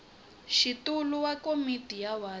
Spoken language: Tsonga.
xitulu wa komiti ya wadi